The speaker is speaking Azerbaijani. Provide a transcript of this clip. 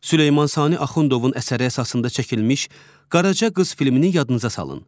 Süleyman Sani Axundovun əsəri əsasında çəkilmiş Qaraca qız filmini yadınıza salın.